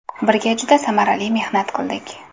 Birga juda samarali mehnat qildik.